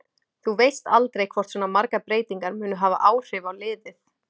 Þú veist aldrei hvort svona margar breytingar munu hafa áhrif á liðið.